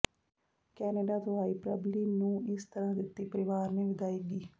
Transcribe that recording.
Canada ਤੋਂ ਆਈ ਪ੍ਰਬਲੀਨ ਨੂੰ ਇਸ ਤਰਾਂ ਦਿਤੀ ਪ੍ਰੀਵਾਰ ਨੇ ਵਿਦਾਇਗੀ